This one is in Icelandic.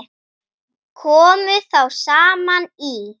Komu þá saman í